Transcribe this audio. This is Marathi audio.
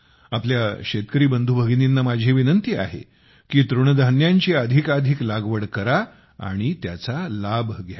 आपल्या शेतकरी बंधूभगिनींना माझी विनंती आहे की तृणधान्यांची अधिकाधिक लागवड करा आणि त्याचा लाभ घ्या